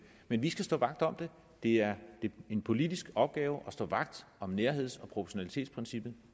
men vi skal stå vagt om det det er en politisk opgave at stå vagt om nærheds og proportionalitetsprincippet